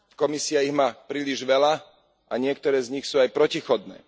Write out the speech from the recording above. Komisia ich má príliš veľa a niektoré z nich sú aj protichodné.